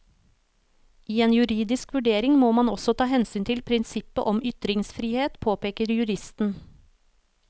I en juridisk vurdering må man også ta hensyn til prinsippet om ytringsfrihet, påpeker juristen.